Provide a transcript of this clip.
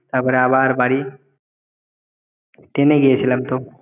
তারপর আবার বাড়ি train গিয়েছিলাম তো